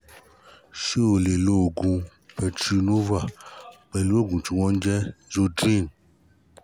ṣé o lè lè lo progynova pẹ̀lú oògùn tí wọ́n ń jẹ́ zotreem?